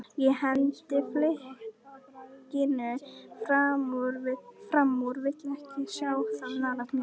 Ég hendi flikkinu framúr, vil ekki sjá það nálægt mér.